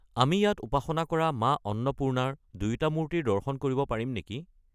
আমি ইয়াত উপাসনা কৰা মা অন্নপূৰ্ণাৰ দুয়োটা মূৰ্তিৰ দৰ্শন কৰিব পাৰিম নেকি?